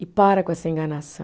E para com essa enganação.